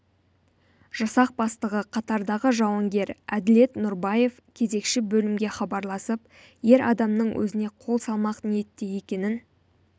жасақ бастығы қатардағы жауынгер әділет нұрбаев кезекші бөлімге хабарласып ер адамның өзіне қол салмақ ниетте екенін